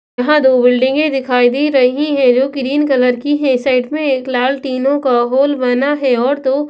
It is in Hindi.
यहां दो बिल्डिंगें दिखाई दे रही हैं जो ग्रीन कलर की है साइड में एक लाल टीनों का होल बना है और दो--